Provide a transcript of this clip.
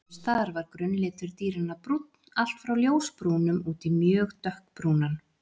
Sums staðar var grunnlitur dýranna brúnn, allt frá ljósbrúnum út í mjög dökkbrúnan.